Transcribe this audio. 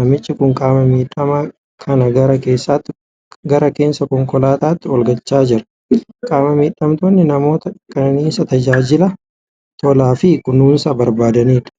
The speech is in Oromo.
namichi kun qaama miidhamaa kana gara keessa konkolaataatti ol galchaa jira. Qaama miidhamtoonni namoota kenniinsa tajaajila tolaa fi kunuunsa barbaadanidha.